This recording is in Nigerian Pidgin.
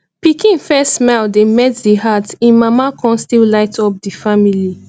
pikin first smile dey melt di heart im mama con still light up di family